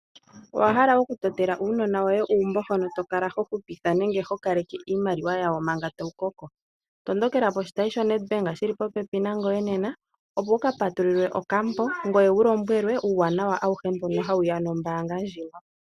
Owahala okutotela uunona woye uumbo hono tokala hohupitha nenge kaleke iimaliwa yawo manga tawu koko? Tondokela poshitayi shaNedbank shili popepi nangoye nena opo wukapatulule okambo ngoye wulombwelwe uuwanawa awuhe mbono hawuya nombaanga ndjika.